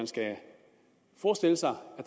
skal forestille sig